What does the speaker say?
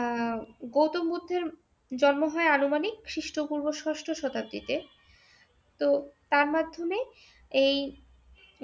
আহ গৌতম বূদ্ধের জন্ম হয় আনুমানিক খ্রীষ্টপূর্ব ষষ্ট শতাব্দীতে। তো তার মাধ্যমে এই